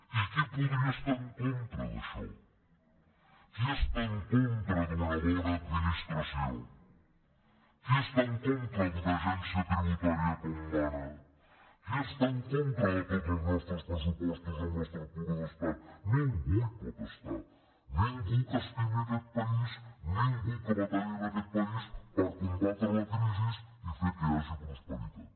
i qui podria estar en contra d’això qui està en contra d’una bona ad·ministració qui està en contra d’una agència tribu·tària com mana qui està en contra de tots els nostres pressupostos amb l’estructura d’estat ningú hi pot es·tar ningú que estimi aquest país ningú que batalli en aquest país per combatre la crisi i fer que hi hagi pros·peritat